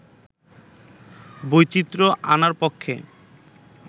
বৈচিত্র্য আনার পক্ষে